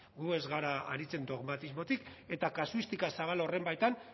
gu ez gara aritzen dogmatismotik eta kasuistika zabal horren baitan